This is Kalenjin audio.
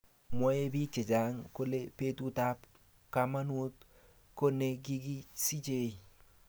Mwoe bik che chang kole betut ab kamanut ko ne kikisichei